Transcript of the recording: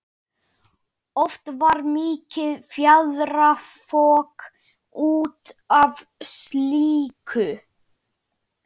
Oft varð mikið fjaðrafok út af slíku.